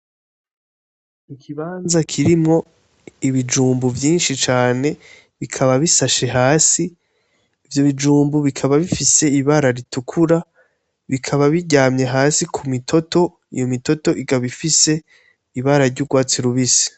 Ikibanza kirimwo ibijumbu vyishi cane bikaba bisashe hasi Ivyo bijumbu bikaba bifise ibara ritukura bikaba biryamye hasi ku mitoto iyo mitoto ikaba ifise ibara ry'urwatsi rubisi.